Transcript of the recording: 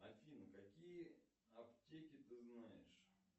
афина какие аптеки ты знаешь